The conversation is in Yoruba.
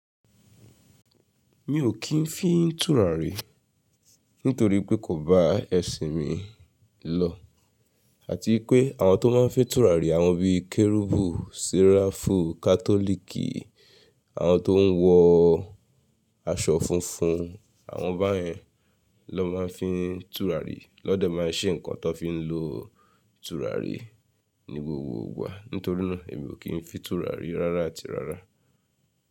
Mi ò kí ń fín túràrí nítorí pé kò bá ẹ̀sìn mi lọ àti pé àwọn tó máa ń fín túràrí àwọn bíi kẹ́rúbù, ṣẹ̀ràfù, kátòlìkì, àwọn tó ń wọ aṣọ funfun àwọn báyẹn ló máa ń fín túràrí lọ́dẹ̀ máa ń ṣé nnkan tó fí ń lo túràrí ní gbogbo ìgbà. Nítorínà èmi ò kí ń fín túràrí rárá àti rárá.